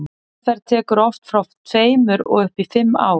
meðferð tekur oft frá tveimur og upp í fimm ár